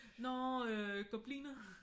Nå øh gobliner?